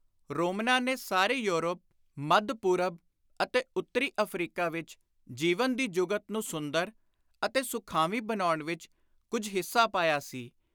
ਰੋਮਨਾਂ ਨੇ ਸਾਰੇ ਯੌਰਪ, ਮੱਧ-ਪੁਰਬ ਅਤੇ ਉੱਤਰੀ ਅਫ਼ਰੀਕਾ ਵਿਚ ਜੀਵਨ ਦੀ ਜੁਗਤ ਨੂੰ ਸੁੰਦਰ ਅਤੇ ਸੁਖਾਵੀਂ ਬਣਾਉਣ ਵਿਚ ਕੁਝ ਹਿੱਸਾ ਪਾਇਆ ਸੀ।